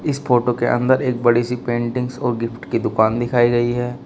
इस फोटो के अंदर एक बड़ी सी पेंटिंग्स और गिफ्ट की दुकान दिखाई गई है।